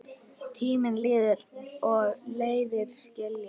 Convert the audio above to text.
Tíminn líður og leiðir skilja.